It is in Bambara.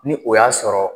Ni o y'a sɔrɔ